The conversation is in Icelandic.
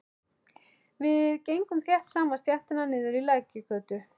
Við gengum þétt saman stéttina niður í Lækjargötu.